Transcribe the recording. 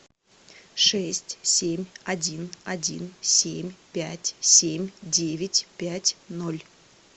шесть семь один один семь пять семь девять пять ноль